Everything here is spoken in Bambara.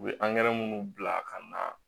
U bɛ angɛrɛ minnu bila ka na